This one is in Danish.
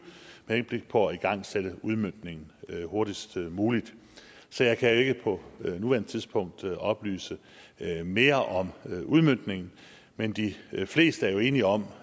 med henblik på at igangsætte udmøntningen hurtigst muligt så jeg kan jo ikke på nuværende tidspunkt oplyse mere om udmøntningen men de fleste er jo enige om